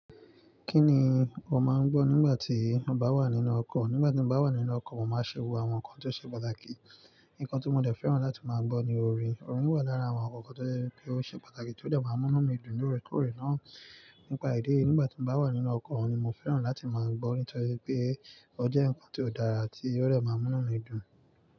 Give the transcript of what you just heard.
Kí ni o máa ń gbọ́ nígbà tí o bá wà nínú ọkọ̀? Nígbà tí mo bá wà nínú ọkọ̀, mo máa ṣe wo àwọn nǹkan tó ṣe pàtàkì. Nǹkan tí mo dẹ̀ fẹ́ràn láti máa gbọ́ ni orin. Orin wà lára àwọn àwọn nǹkan tó jẹ́ wípé ó ṣe pàtàkì tó dẹ̀ máa ń múnú mi dùn lóòrèkóòrè náà. Nípa ìdíèyí, nígbà tí mo bá wà nínú ọkọ̀, orin ni mo fẹ́ràn láti máa gbọ́ nítorí pé ó jẹ́ ǹnkan tí ó dára tí ó dẹ̀ máa ń múnú mi dùn.